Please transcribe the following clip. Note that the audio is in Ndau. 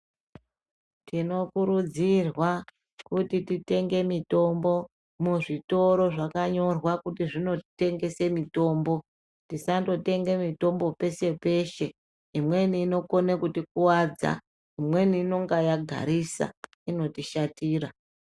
Tinokurudzirwa kuti titenge mitombo muzvitoro zvakanyorwa kuti zvinotengese mitombo, tisandotenge mitombo peshe-peshe. Imweni inokone kutikuwadza. Imweni inonga yagarisa, inotishatira.